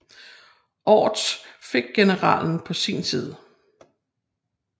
Orts fik generalen på sin side